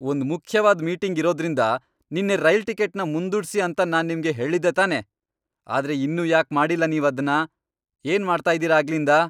ಒಂದ್ ಮುಖ್ಯವಾದ್ ಮೀಟಿಂಗ್ ಇರೋದ್ರಿಂದ ನಿನ್ನೆ ರೈಲ್ ಟಿಕೆಟ್ನ ಮುಂದೂಡ್ಸಿ ಅಂತ ನಾನ್ ನಿಮ್ಗೆ ಹೇಳಿದ್ದೆ ತಾನೇ! ಆದ್ರೆ ಇನ್ನೂ ಯಾಕ್ ಮಾಡಿಲ್ಲ ನೀವದ್ನ, ಏನ್ ಮಾಡ್ತಾ ಇದೀರ ಆಗ್ಲಿಂದ?